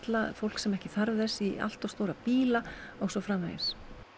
fólk sem ekki þarf þess í allt of stóra bíla og svo framvegis